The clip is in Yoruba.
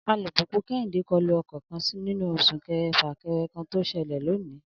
Alùpùpù Kẹ́hìndé kọlu ọkọ̀ kan nínú súnkẹrẹ-fàkẹrẹ kan tó ṣẹlẹ̀ lónìí